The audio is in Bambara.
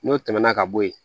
N'o tɛmɛna ka bo yen